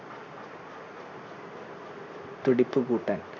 തുടിപ്പ് കൂട്ടാൻ.